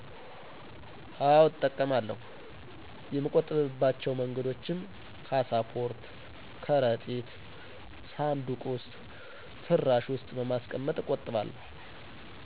አወ እጠቀማለሁ የሚቆጠብ ባቸው መንገዶችም ካሳፖርት፣ ከረጢት፣ ሳንዱቅ ዉስጥ፣ ፍራሽ ዉስጥ በማስቀመጥ እቆጥባለሁ።